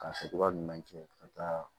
Ka kɛcogoya ɲuman kɛ ka taa